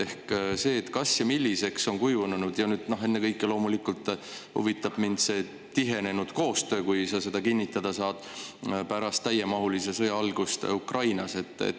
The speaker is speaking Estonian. Ennekõike huvitab mind loomulikult see tihenenud koostöö, kui sa seda kinnitada saad, pärast täiemahulise sõja algust Ukrainas.